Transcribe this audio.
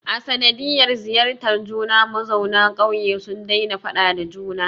A sanadiyar ziyartar juna, mazauna ƙauye sun daina faɗa da juna